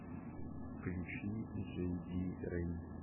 включи джейди рейд